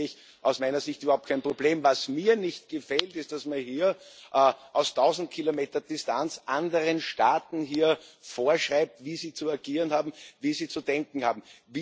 Da sehe ich aus meiner Sicht überhaupt kein Problem. Was mir nicht gefällt, ist, dass man hier aus tausend Kilometern Distanz anderen Staaten vorschreibt, wie sie zu agieren haben, wie sie zu denken haben.